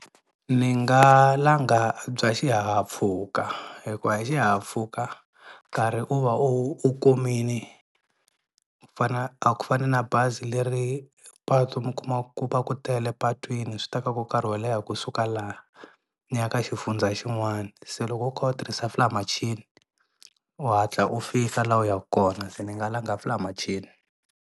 Ni nga langa bya xihahampfhuka hikuva hi xihahampfhuka nkarhi u va u u kumini a ku fana na bazi leri patu mi kumaku ku va ku tele patwini swi tekaka karhi wo leha kusuka laha ni ya ka xifundza xin'wani, se loko u kha u tirhisa fly machini u hatla u fika laha u yaka kona se ni nga langa fly machini.